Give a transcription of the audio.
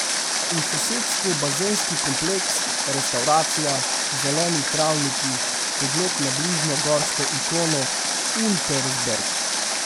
V sosedstvu bazenski kompleks, restavracija, zeleni travniki, pogled na bližnjo gorsko ikono Untersberg.